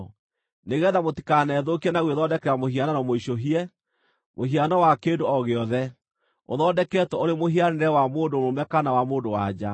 nĩgeetha mũtikanethũkie na gwĩthondekera mũhianano mũicũhie, mũhiano wa kĩndũ o gĩothe, ũthondeketwo ũrĩ mũhianĩre wa mũndũ mũrũme kana wa mũndũ-wa-nja,